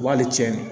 Wa hali tiɲɛ